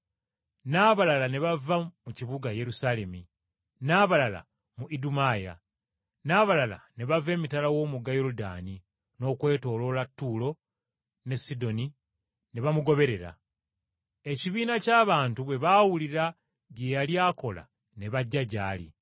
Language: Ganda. N’abalala ne bava mu kibuga Yerusaalemi, n’abalala mu Idumaya, n’abalala ne bava emitala w’omugga Yoludaani n’okwetooloola Ttuulo ne Sidoni ne bamugoberera. Ekibiina ky’abantu bwe baawulira bye yali akola ne bajja gy’ali.